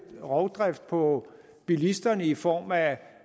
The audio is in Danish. rovdrift på bilisterne i form af